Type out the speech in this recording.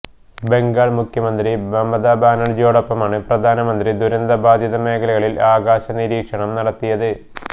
ബംഗാൾ മുഖ്യമന്ത്രി മമത ബാനർജിയോടൊപ്പമാണ് പ്രധാനമന്ത്രി ദുരന്ത ബാധിത മേഖലകളിൽ ആകാശ നിരീക്ഷണം നടത്തിയത്